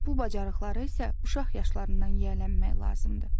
Bu bacarıqları isə uşaq yaşlarından yiyələnmək lazımdır.